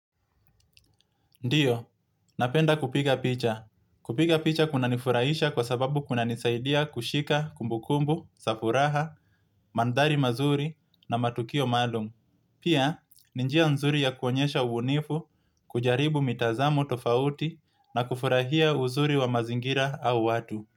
Ndiyo, napenda kupiga picha. Kupiga picha kuna nifurahisha kwa sababu kuna nisaidia kushika kumbukumbu, safuraha, mandari mazuri na matukio malum. Pia, ninjia nzuri ya kuonyesha ubunifu, kujaribu mitazamo tofauti na kufurahia uzuri wa mazingira au watu.